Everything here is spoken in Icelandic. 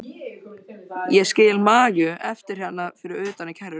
Ég skil Maju eftir hérna fyrir utan í kerrunni.